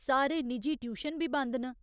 सारे निजी ट्यूशन बी बंद न।